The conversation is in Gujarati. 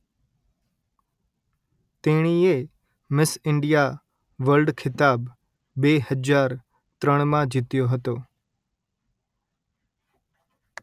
તેણીએ મિસ ઇન્ડિયા વર્લ્ડ ખિતાબ બે હજાર ત્રણમાં જીત્યો હતો